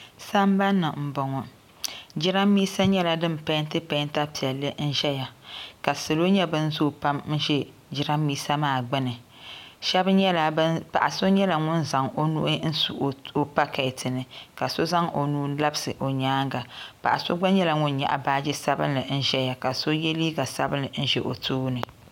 Sambani m boŋɔ jirambisa nyɛla din penti penta piɛlli zaya ka salo nyɛ ban zoo pam n ʒɛ jirambisa maa gbini paɣa so nyɛla ŋun zaŋ o nuu n su o paketi ni ka so zaŋ o nuu labisi o nyaanga paɣa so gba nyɛla ŋun nyaɣi baaji sabinli n ʒɛya ka so ye liiga sabinli n ʒɛ o tooni.